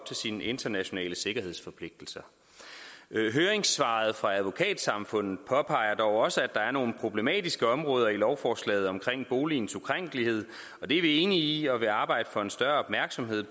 til sine internationale sikkerhedsforpligtelser høringssvaret fra advokatsamfundet påpeger dog også at der er nogle problematiske områder i lovforslaget omkring boligens ukrænkelighed og det er vi enige i vi vil arbejde for større opmærksomhed